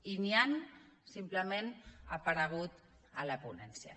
i ni han simplement aparegut en la ponència